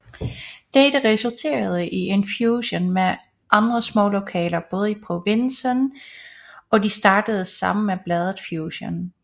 Dette resulterede i en fusion med andre små lokale blade i provinsen og de startede sammen bladet Fusion